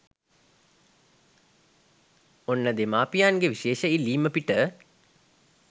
ඔන්න දෙමාපියන්ගේ විශේෂ ඉල්ලීම පිට